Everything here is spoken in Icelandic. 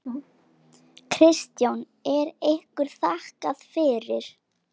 Kristján: Er ykkur þakkað fyrir?